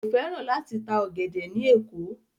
Kò fẹ́ràn láti ta ọ̀gẹ̀dẹ̀ ní Èkó.